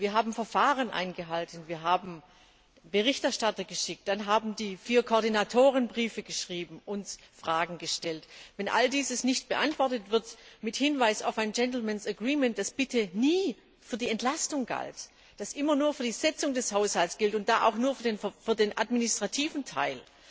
Wir haben Verfahren eingehalten, wir haben Berichterstatter geschickt, dann haben die vier Koordinatoren Briefe geschrieben und Fragen gestellt. All dies ist nicht beantwortet worden mit Hinweis auf ein Gentlemen's Agreement, das bitte nie für die Entlastung galt, das immer nur für die Sitzung des Haushalts galt und da nur für den administrativen Teil,